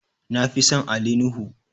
na Fi San Ali nuhu